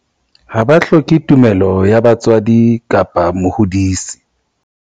Ha ba hloke tumello ya motswadi kapa mohodisi.